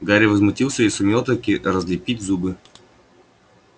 гарри возмутился и сумел-таки разлепить зубы